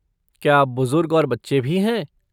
क्या बुजुर्ग और बच्चे भी हैं?